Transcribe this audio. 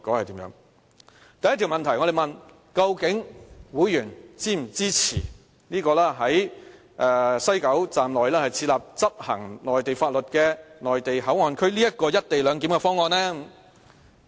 第一條問題是問會員是否支持在西九站內設立執行內地法律的內地口岸區這"一地兩檢"的方案？